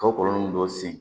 Ka kɔlɔlɔ dɔ sen